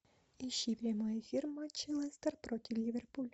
ищи прямой эфир матча лестер против ливерпуль